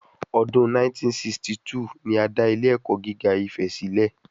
Ọdún 1962 ni a dá ilé ẹ̀kọ́ gíga Ifè sílẹ̀